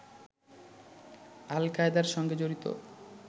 আল-কায়েদার সঙ্গে জড়িত